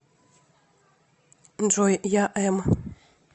джой я эм